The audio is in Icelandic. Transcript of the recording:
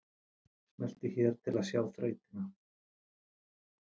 Smelltu hér til að sjá þrautina